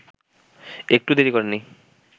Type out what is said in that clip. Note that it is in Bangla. একটুও দেরি করেননি